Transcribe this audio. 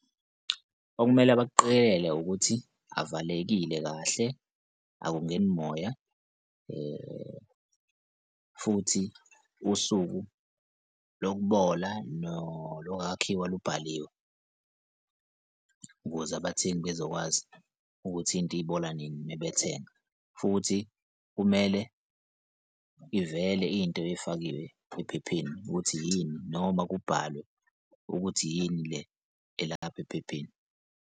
Okumele bakuqikelele ukuthi avalekile kahle akungeni moya futhi usuku lokubola nolokwakhiwa lubhaliwe ukuze abathengi bezokwazi ukuthi into ibola nini uma bethenga? Futhi kumele ivele into efakiwe ephepheni ukuthi yini noma kubhalwe ukuthi yini le elapha ephepheni?